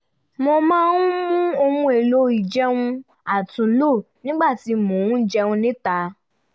mo máa ń mú ohun èlò ìjẹun àtúnlò nígbà tí mo ń jẹun níta